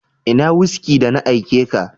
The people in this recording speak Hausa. Ina "whisky "da na aike ka?